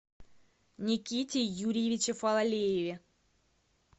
никите юрьевиче фалалееве